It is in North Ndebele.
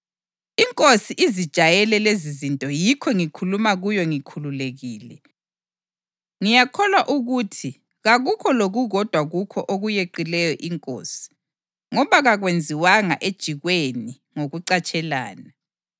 Inkosi izijayele lezizinto yikho ngikhuluma kuyo ngikhululekile. Ngiyakholwa ukuthi kakukho lokukodwa kukho okuyeqileyo inkosi, ngoba kakwenziwanga ejikweni ngokucatshelana.